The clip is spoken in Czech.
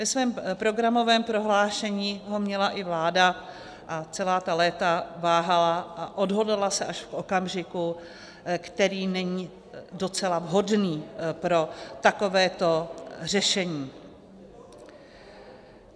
Ve svém programovém prohlášení ho měla i vláda a celá ta léta váhala a odhodlala se až v okamžiku, který není docela vhodný pro takovéto řešení.